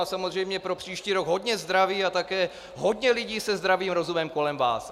A samozřejmě pro příští rok hodně zdraví a také hodně lidí se zdravým rozumem kolem vás.